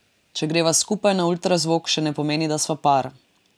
Če greva skupaj na ultrazvok, še ne pomeni, da sva par.